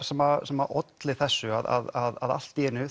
sem sem olli þessu að allt í einu